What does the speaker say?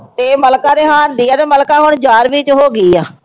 ਇਹ ਮਲਿਕਾ ਦੇ ਹਾਣ ਦੀ ਆ ਤੇ ਮਲਿਕਾ ਹੁਣ ਗਿਆਰਵੀਂ ਚ ਹੋ ਗਈ ਆ।